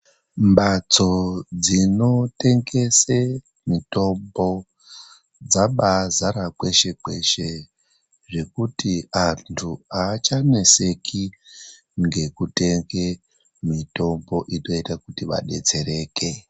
Mbatso dzinotengese mitombo dzabaazara kweshe-kweshe zvekuti antu haachaneseki ngekutenge mitombo inoita kuti vadetsereke.